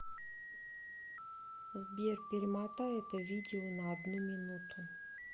сбер перемотай это видео на одну минуту